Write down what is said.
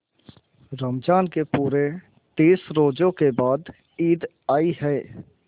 रमज़ान के पूरे तीस रोजों के बाद ईद आई है